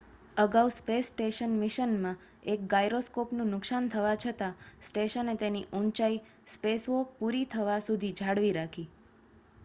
અગાઉ space station મિશનમાં એક ગાયરોસ્કોપનું નુકસાન થવા છતાં સ્ટેશને તેની ઊંચાઈ સ્પેસવોક પૂરી થવા સુધી જાળવી રાખી